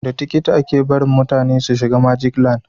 Da tikiti a ke barin mutane su shiga magic land